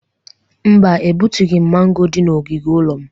Mba, egbutughi m mango dị n'ogige ụlọ m.